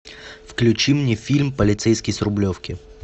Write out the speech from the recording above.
включи мне фильм полицейский с рублевки